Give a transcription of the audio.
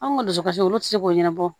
Anw ka dusukasi olu ti se k'o ɲɛnabɔ